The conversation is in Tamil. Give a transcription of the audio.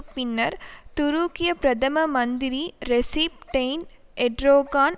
பின்னர் துருக்கிய பிரதம மந்திரி ரெசிப் டெயிப் எர்டோகான்